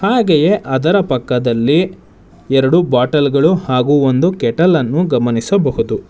ಹಾಗೆಯೇ ಅದರ ಪಕ್ಕದಲ್ಲಿ ಎರಡು ಬಾಟಲ್ ಗಳು ಹಾಗು ಒಂದು ಕೆಟಲ್ ನ್ನು ಗಮನಿಸಬಹುದು.